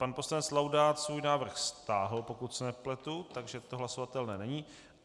Pan poslanec Laudát svůj návrh stáhl, pokud se nepletu, takže to hlasovatelné není.